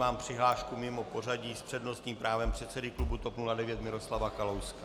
Vnímám přihlášku mimo pořadí s přednostním právem předsedy klubu TOP 09 Miroslava Kalouska.